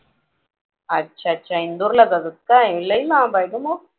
अच्छा अच्छा इंदोरला जातात काय लई लांब आहे ग मग